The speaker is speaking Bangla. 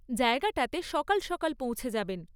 জায়গাটাতে সকাল সকাল পৌঁছে যাবেন।